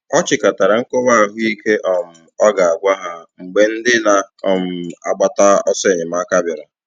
Ọ chịkọtara nkọwa ahụ ike um ọ ga - agwa ha mgbe ndị na - um agbata ọsọ enyemaka bịara